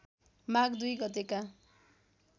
माघ २ गतेका